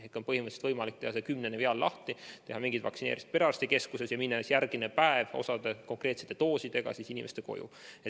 Nii et põhimõtteliselt on võimalik teha see kümnene viaal lahti, teha osa vaktsineerimisi perearstikeskuses ja minna järgmisel päeval osa doosidega inimeste koju.